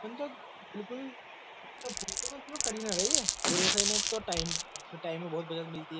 मन तो बिल्कुल करी ना रही है र एक तो टाइम टाइम में बहुत बज मिलती है।